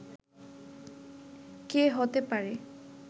কে হতে পারে